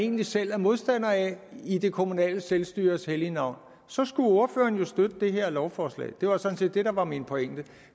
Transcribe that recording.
egentlig selv er modstander af i det kommunale selvstyres hellige navn så skulle ordføreren jo støtte det her lovforslag det var sådan set det der var min pointe